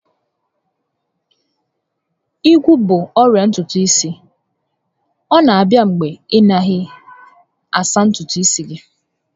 Ígwú bụ ọrịa ntutu isi, ọ na abịa mgbe ị naghị asa ntutu isi gị